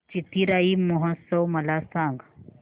चिथिराई महोत्सव मला सांग